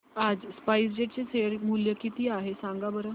आज SpiceJet चे share मूल्य काय आहे सांगा बरं